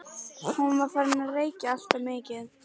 Hún er farin að reykja alltof mikið.